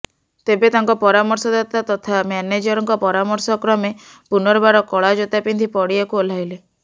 ତେବେ ତାଙ୍କ ପରାମର୍ଶଦାତା ତଥା ମ୍ୟାନେଜରଙ୍କ ପରାମର୍ଶକ୍ରମେ ପୁନର୍ବାର କଳା ଜୋତା ପିନ୍ଧି ପଡ଼ିଆକୁ ଓହ୍ଲାଇଲେ